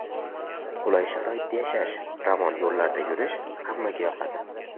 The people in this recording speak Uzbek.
Qulay sharoitda yashash, ravon yo‘llarda yurish hammaga yoqadi.